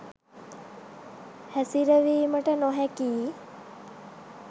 හැසිරවීමට නොහැකියි